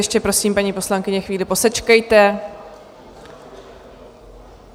Ještě prosím, paní poslankyně, chvíli posečkejte.